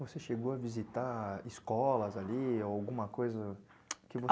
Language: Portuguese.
Você chegou a visitar escolas ali, alguma coisa?